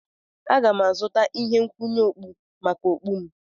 Aga m azụta ihe nkwụnye okpu maka okpu m.